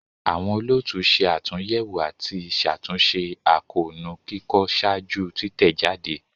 Awọn olootu ṣe atunyẹwo ati ṣatunṣe akoonu kikọ ṣaaju titẹjade.